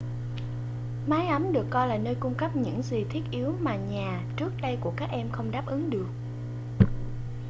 mái ấm được coi là nơi cung cấp những gì thiết yếu mà nhà trước đây của các em không đáp ứng được